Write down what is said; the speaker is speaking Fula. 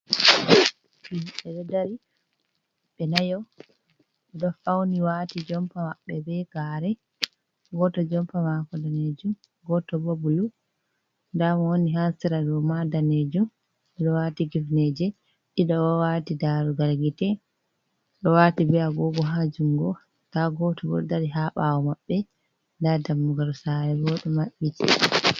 Himɓe ɗo dari, ɓe nayo, ɓe ɗo fauni wati jompa maɓɓe be gare. Goto jompa mako daneejum, goto bo bulu. Nda mo woni ha sera ɗo ma daneejum. Ɓe ɗo wati kifneeje, ɗiɗo o waati darugal gite, ɗo wati be agogo ha jungo. Nda goto bo ɗo dari ha ɓaawo maɓɓe. Nda dammugal sare bo ɗo maɓɓiti.